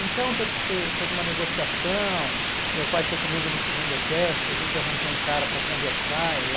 Então teve que ter toda uma negociação, meu pai foi comigo no segundo exército, a gente arranjou um cara para conversar e ir lá.